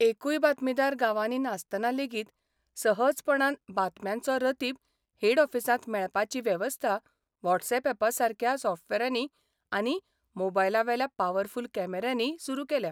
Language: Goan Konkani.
एकूय बातमीदार गांवांनी नासतना लेगीत सहजपणान बातम्यांचो रतीब हेड ऑफिसांत मेळपाची वेबस्था व्हॉट्स ॲपासारक्या सॉफ्टबॅरांनी आनी मोबायलाबेल्या पावरफुल कॅमेऱ्यांनी सुरू केल्या.